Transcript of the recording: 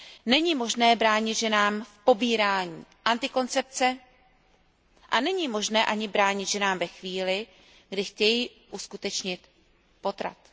Není možné bránit ženám v tom, aby braly antikoncepci, a není možné ani bránit ženám ve chvíli, kdy chtějí uskutečnit potrat.